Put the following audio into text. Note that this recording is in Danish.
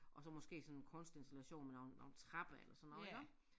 Og så måske sådan kunstinstallation med nogle nogle trapper eller sådan noget iggå